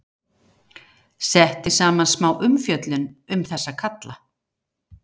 Setti saman smá umfjöllun um þessa kalla.